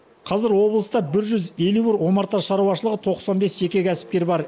қазір облыста бір жүз елу бір омарта шаруашылығы тоқсан бес жеке кәсіпкер бар